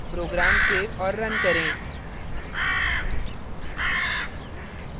program save और run करें